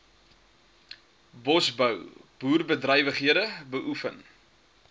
bosbou boerderybedrywighede beoefen